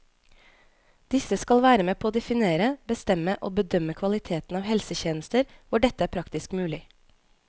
Disse skal være med på å definere, bestemme og bedømme kvaliteten av helsetjenester hvor dette er praktisk mulig.